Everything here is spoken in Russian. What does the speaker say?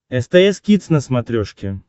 стс кидс на смотрешке